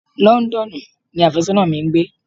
Londonu ni afésónà mi ń gbé.